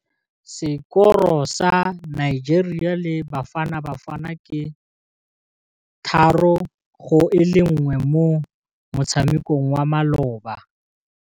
Sekôrô sa Nigeria le Bafanabafana ke 3-1 mo motshamekong wa malôba.